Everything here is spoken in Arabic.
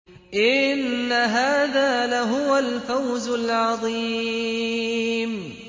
إِنَّ هَٰذَا لَهُوَ الْفَوْزُ الْعَظِيمُ